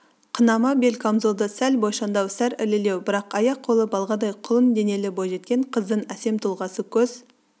қынама бел камзолды сәл бойшаңдау сәл ірілеу бірақ аяқ-қолы балғадай құлын денелі бойжеткен қыздың әсем тұлғасы көз